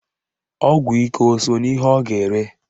Ọgwụ ike o so n'ihe ọ ga-ere?